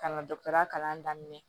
Ka na dɔkitɛri kalan daminɛ